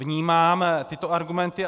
Vnímám tyto argumenty.